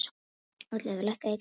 Oddleifur, lækkaðu í græjunum.